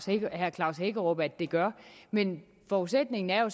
herre klaus hækkerup at det gør men forudsætningen er jo